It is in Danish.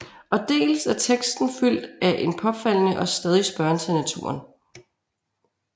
Og dels er teksten fyldt af en påfaldende og stadig spørgen til naturen